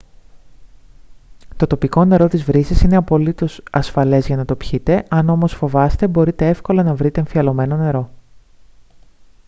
το τοπικό νερό της βρύσης είναι απολύτως ασφαλές για να το πιείτε αν όμως φοβάστε μπορείτε εύκολα να βρείτε εμφιαλωμένο νερό